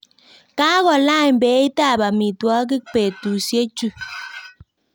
Kokolany beitab amitwokik betusiechu